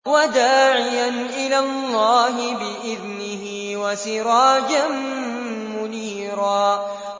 وَدَاعِيًا إِلَى اللَّهِ بِإِذْنِهِ وَسِرَاجًا مُّنِيرًا